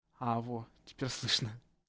а во теперь слышно